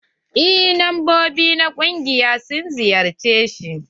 Eh membobi na ƙungiyar sun ziyarce shi.